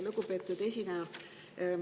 Lugupeetud esineja!